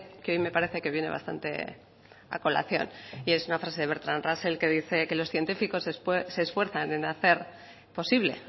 que hoy me parece que viene bastante a colación y es una frase de bertrand russell que dice que los científicos se esfuerzan en hacer posible